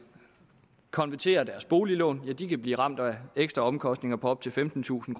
konvertere deres boliglån kan blive ramt af ekstra omkostninger på op til femtentusind